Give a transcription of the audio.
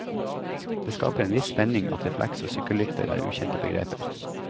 Det skaper en viss spenning at refleks og sykkellykter er ukjente begreper.